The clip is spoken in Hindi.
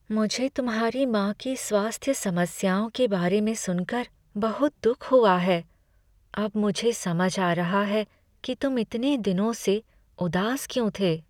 मुझे तुम्हारी माँ की स्वास्थ्य समस्याओं के बारे में सुनकर बहुत दुख हुआ है। अब मुझे समझ आ रहा है कि तुम इतने दिनों से उदास क्यों थे।